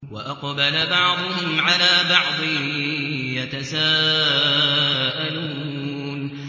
وَأَقْبَلَ بَعْضُهُمْ عَلَىٰ بَعْضٍ يَتَسَاءَلُونَ